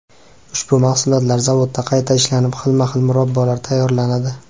Ushbu mahsulotlar zavodda qayta ishlanib, xilma-xil murabbolar tayyorlanadi.